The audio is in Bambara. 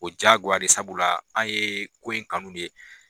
O jaagoya de ye sabula an ye ko in kanu de.